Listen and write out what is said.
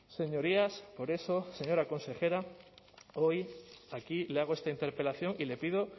señorías por eso señora consejera hoy aquí le hago esta interpelación y le pido